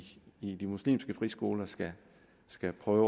i de muslimske friskoler skal skal prøve